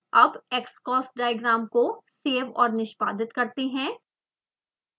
अब xcos diagram को save और निष्पादित करते हैं